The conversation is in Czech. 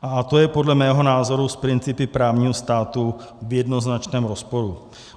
A to je podle mého názoru s principy právního státu v jednoznačném rozporu.